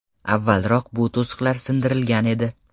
Avvalroq bu to‘siqlar sindirilgan edi .